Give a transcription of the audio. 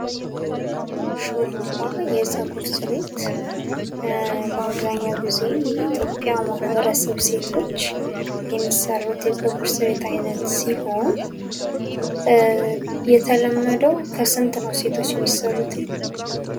ሹሩባ የጸጉር ስሬት በአብዛኛው ጊዜ የኢትዮጵያ ማህበረሰብ ሴቶች የሚሰሩት የጸጉር ስሬት አይነት ሲሆን የተለመደው ከስንት ነው ሰቶች የሚሰሩትኝ?